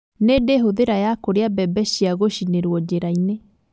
Nĩndĩ hũthĩra ya kũrĩa mbembe cia gũcinĩrwo njĩraini